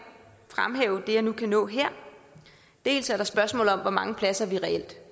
fremhæve det jeg nu kan nå her dels er der spørgsmålet om hvor mange pladser vi reelt